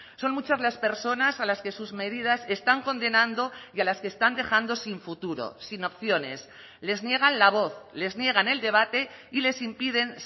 son muchas las personas a las que sus medidas están condenando y a las que están dejando sin futuro sin opciones les niegan la voz les niegan el debate y les impiden